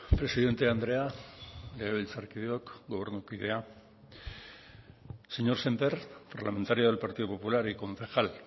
presidente andrea legebiltzarkideok gobernukideok señor sémper parlamentario del partido popular y concejal